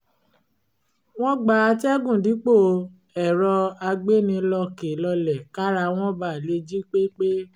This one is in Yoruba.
wọ́n gba àtẹ̀gùn dípò ẹ̀rọ àgbéni-lọkèlọlẹ̀ kára wọn ba lè jí pé pé